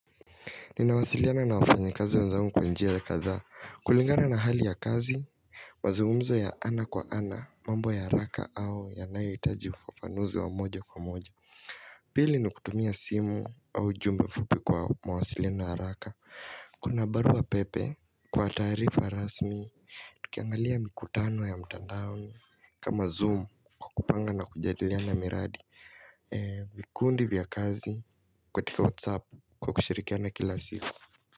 Ninawasiliana na wafanyikazi wenzangu kwa njia kadhaa. Kulingana na hali ya kazi mazungumzo ya ana kwa ana, mambo ya haraka au yanayohitaji ufafanuzi wa moja kwa moja Pili ni kutumia simu au ujumbe mfupi kwa mawasiliano haraka Kuna barua pepe kwa taarifa rasmi Tukiangalia mikutano ya mtandaoni kama zoom kwa kupanga na kujadiliana miradi vikundi vya kazi katika whatsapp kwa kushirikiana kila siku.